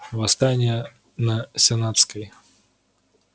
восстание на сенатской